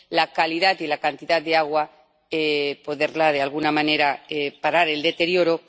la calidad y la cantidad de agua —poder de alguna manera parar el deterioro—